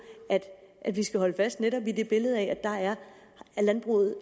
at vi fremadrettet skal holde fast netop i det billede af at landbruget